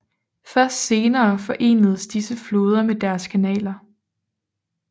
Først senere forenedes disse floder med kanaler